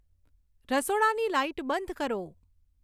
રસોડાની લાઈટ બંધ કરો